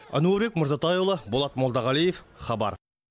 әнуарбек мырзатайұлы болат молдағалиев хабар